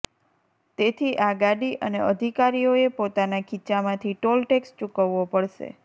તેથી આ ગાડી અને અધિકારીઓએ પોતાનાં ખીચ્ચામાંથી ટોલ ટેક્સ ચુકવવો પડશે